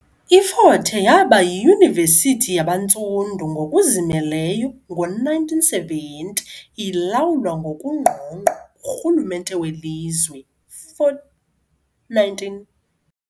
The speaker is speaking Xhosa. IFort Hare yaba yiyunivesithi yabantsundu ngokuzimeleyo ngo1970, ilawulwa ngokungqongqo ngurhulumente welizwe. 419